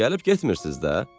"Gəlib getmirsiz də?"